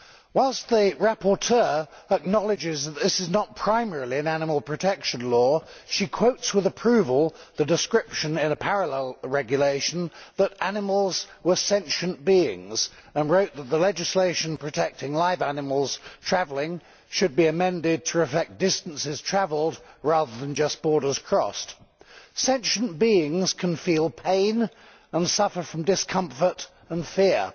Whilst the rapporteur acknowledges that this is not primarily an animal protection law, she quotes with approval the description in a parallel regulation that animals are sentient beings and has written that the legislation protecting live animals when travelling should be amended to reflect distances travelled rather than just borders crossed. Sentient beings can feel pain and suffer from discomfort and fear.